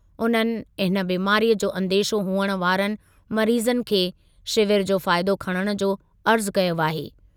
उन्हनि हिन बीमारीअ जो अंदेशो हुअणु वारनि मरीज़नि खे शिविर जो फ़ाइदो खणण जो अर्ज़ु कयो आहे।